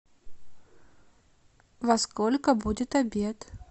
во сколько будет обед